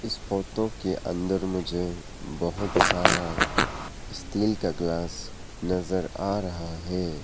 इस फोटो के अंदर मुझे बहुत सारा स्टील का ग्लास नजर आ रहा है।